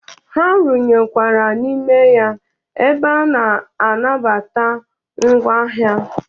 Ha runyekwara n'ime ya ebe a na-anabata ngwa ahịa.